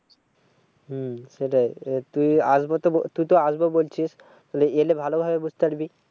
হম সেটাই এবার তুই আসবো তো তুই তো আসবো বলছিস। তাহলে ভালো ভাবে বুঝতে পারবি।